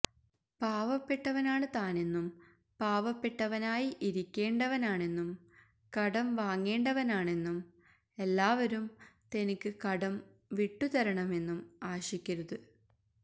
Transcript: പാവപ്പെട്ടവനാണ് താനെന്നും പാവപ്പെട്ടവനായി ഇരിക്കേണ്ടവനാണെന്നും കടം വാങ്ങേണ്ടവനാണെന്നും എല്ലാവരും തനിക്ക് കടം വിട്ടുതരണമെന്നും ആശിക്കരുത്